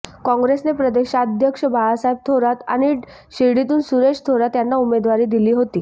काँग्रसेने प्रदेशाध्यक्ष बाळासाहेब थोरात आणि शिर्डीतून सुरेश थोरात यांना उमेदवारी दिली होती